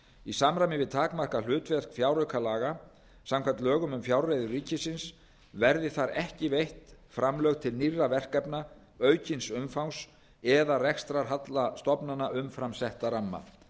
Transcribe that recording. í samræmi við takmarkað hlutverk fjáraukalaga samkvæmt lögum um fjárreiður ríkisins verði þar ekki veitt framlög til nýrra verkefna aukins umfangs eða rekstrarhalla stofnana umfram setta ramma